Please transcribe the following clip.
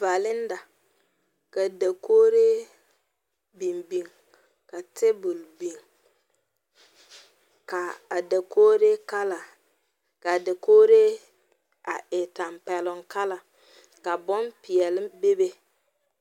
Valenda ka dakogree biŋ biŋ ka table biŋ ka a dakogree kala ka a dakogree a e tampɛloŋ Kala ka bonpeɛlle bebe .